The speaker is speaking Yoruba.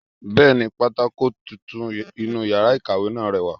Bẹ́ẹ̀ni, pátákó tuntun inú yàrá ìkàwé náà rẹwà